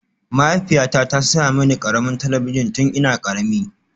Mahaifiyata ta saya mini ƙaramin talabijin tun ina ƙarami